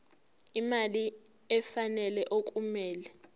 imali efanele okumele